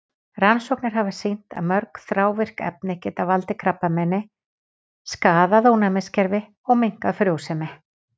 Rannsóknir hafa sýnt að mörg þrávirk efni geta valdið krabbameini, skaðað ónæmiskerfi og minnkað frjósemi.